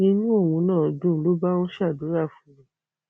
inú òun náà dùn ló bá ń ṣàdúrà fún mi